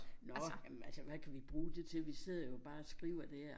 Nå jamen altså hvad kan vi bruge det til vi sidder jo bare og skriver dér